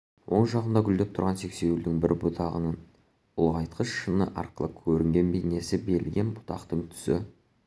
оң жағында гүлдеп тұрған сексеуілдің бір бұтағының ұлғайтқыш шыны арқылы көрінген бейнесі берілген бұтақтың түсі